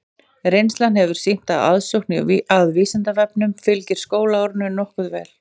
Reynslan hefur sýnt að aðsókn að Vísindavefnum fylgir skólaárinu nokkuð vel.